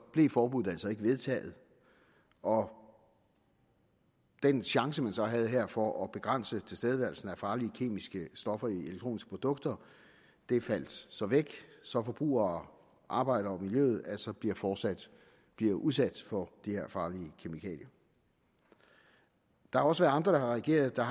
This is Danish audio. blev forbuddet altså ikke vedtaget og den chance man så her havde for at begrænse tilstedeværelsen af farlige kemiske stoffer i elektroniske produkter faldt så væk så forbrugere arbejdere og miljøet altså fortsat bliver udsat for de her farlige kemikalier der er også andre der har reageret der